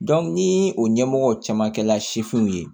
ni o ɲɛmɔgɔ caman kɛla sifinw ye